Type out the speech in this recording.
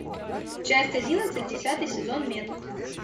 часть одиннадцать десятый сезон метод